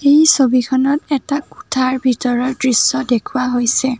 এই ছবিখনত এটা কোঠাৰ ভিতৰৰ দৃশ্য দেখুওৱা হৈছে।